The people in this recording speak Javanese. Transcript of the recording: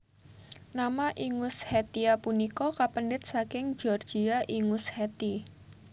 Nama Ingushetia punika kapendhet saking Georgia Ingusheti